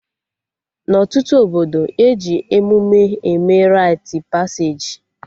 Na ọtụtụ obodo, eji emụme eme rait paseji